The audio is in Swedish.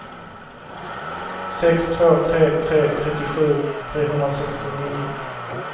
sex två tre tre trettiosju trehundrasextionio